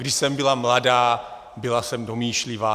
Když jsem byla mladá, byla jsem domýšlivá.